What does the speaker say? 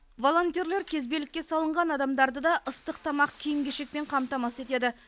волонтерлер кезбелікке салынған адамдарды да ыстық тамақ киім кешекпен қамтамасыз етеді